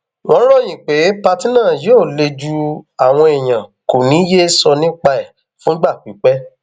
wọn ròyìn pé pátì náà yóò le ju àwọn èèyàn kó ní í yéé sọ nípa ẹ fúngbà pípẹ